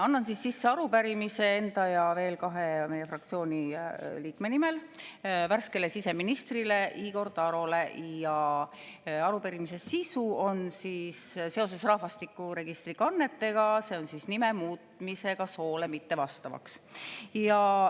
Annan sisse arupärimise enda ja veel kahe meie fraktsiooni liikme nimel värskele siseministrile Igor Tarole ja arupärimise sisu on seoses rahvastikuregistri kannetega, see on siis nime muutmisega soole mittevastavaks.